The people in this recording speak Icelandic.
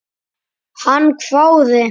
Hann hváði.